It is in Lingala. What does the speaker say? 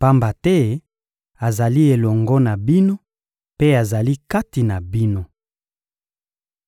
pamba te azali elongo na bino mpe azali kati na bino.